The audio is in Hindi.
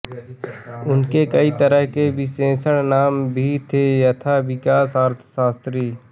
उनके कई तरह के विशेषण नाम भी थे यथा विकास अर्थशास्त्री